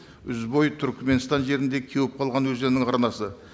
ізбой түрменстан жерінде кеуіп қалған өзеннің арнасы